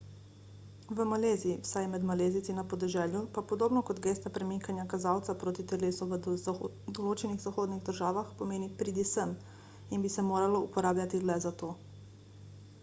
v maleziji vsaj med malezijci na podeželju pa podobno kot gesta premikanja kazalca proti telesu v določenih zahodnih državah pomeni pridi sem in bi se moralo uporabljati le za to